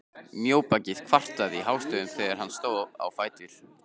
Mjóbakið kvartaði hástöfum þegar hann stóð á fætur.